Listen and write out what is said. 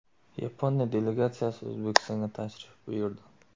Yaponiya delegatsiyasi O‘zbekistonga tashrif buyurdi.